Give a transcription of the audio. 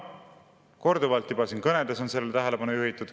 Korduvalt on juba siin kõnedes sellele tähelepanu juhitud.